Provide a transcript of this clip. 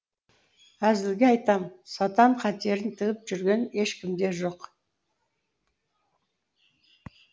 әзілге айтам сатан қатерін тігіп жүрген ешкім де жоқ